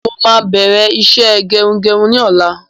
Mo máa bẹ̀rẹ̀ iṣẹ́ gerugeru ni ọ̀la